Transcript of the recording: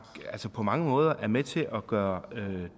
på mange måder er med til at gøre